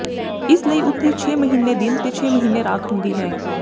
ਇਸ ਲਈ ਉਥੇ ਛੇ ਮਹੀਨੇ ਦਿਨ ਤੇ ਛੇ ਮਹੀਨੇ ਦੀ ਰਾਤ ਹੁੰਦੀ ਹੈ